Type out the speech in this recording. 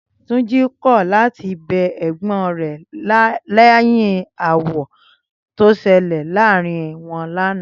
Túnjí kọ̀ láti bẹ ẹ̀gbọ́n rẹ̀ lẹ́yìn aáwọ̀ tó ṣẹlẹ̀ láàárín wọn lánàá